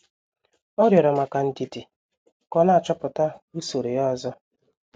Ọ rịorọ maka ndidi ka ọ na-achọpụta usoro ya ozo.